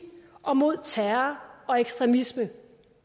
og mod terror og ekstremisme